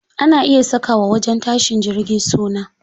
Ana iya saka wa wajen tashin jirgi suna.